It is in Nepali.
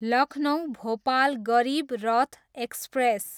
लखनउ, भोपाल गरिब रथ एक्सप्रेस